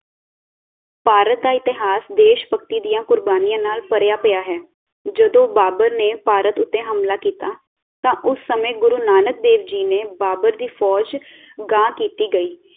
ਭਾਰਤ ਦਾ ਇਤਿਹਾਸ ਦੇਸ਼ਭਕਤੀ ਦੀਆਂ ਕੁਰਬਾਨੀਆਂ ਨਾਲ ਭਰਿਆ ਪਿਆ ਹੈ ਜਦੋਂ ਬਾਬਰ ਨੇ ਭਾਰਤ ਉਤੇ ਹਮਲਾ ਕੀਤਾ ਤਾਂ ਉਸ ਸਮੇਂ ਗੁਰੂ ਨਾਨਕ ਦੇਵ ਜੀ ਨੇ ਬਾਬਰ ਦੀ ਫੌਜ਼ ਗਾਂਹ ਕੀਤੀ ਗਈ